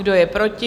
Kdo je proti?